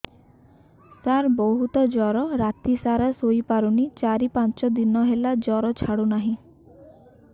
ସାର ବହୁତ ଜର ରାତି ସାରା ଶୋଇପାରୁନି ଚାରି ପାଞ୍ଚ ଦିନ ହେଲା ଜର ଛାଡ଼ୁ ନାହିଁ